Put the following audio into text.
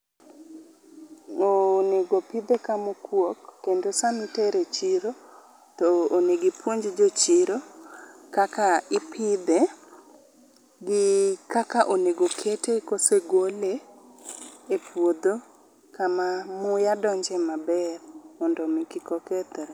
Onego opidhe kama okuok kendo sama itere e chiro onego ipuonj jochiro kaka ipidhe gi kaka onego okete kosegole e puodho kama muya donje maber mondo mi kik okethre